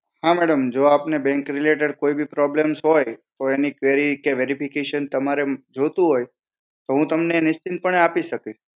હા madam જો આપને Bank related કોઈ બી problems હોય તો એની query કે verification તમારે જોતું હોય તો હુ એ તમને નિશ્ચિંતપણે આપી શકીશ.